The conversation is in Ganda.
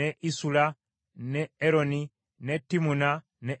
ne Eroni ne Timuna ne Ekuloni